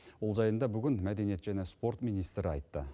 ол жайында бүгін мәдениет және спорт министрі айтты